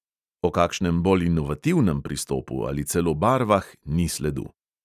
O kakšnem bolj inovativnem pristopu ali celo barvah ni sledu.